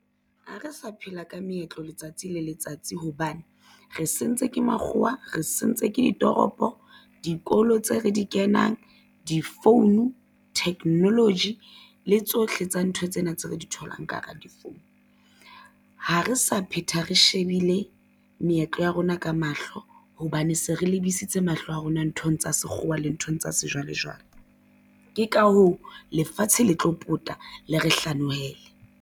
Ha re sa phela ka meetlo letsatsi le letsatsi hobane re sentswe ke makgowa. Re sentswe ke ditoropo. Dikolo tse re di kenang di-phone technology le tsohle tsa ntho tsena tse re di tholang ka hara di-phone. Ha re sa phetha re shebile meetlo ya rona ka mahlo hobane se re lebisitse mahlo a rona nthong tsa sekgowa le nthong tsa sejwalejwale. Ke ka hoo lefatshe le tlo pota le re hlanohele.